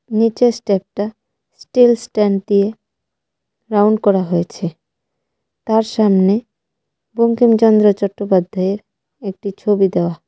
নীচের স্টেপটা steel stand দিয়ে রাউন্ড করা হয়েছে তার সামনে বঙ্কিমচন্দ্র চট্টোপাধ্যায়ের একটি ছবি দেওয়া।